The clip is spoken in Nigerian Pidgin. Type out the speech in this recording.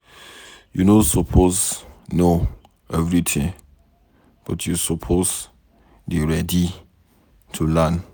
You no suppose know everything but you suppose dey ready to learn.